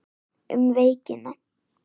Um veikina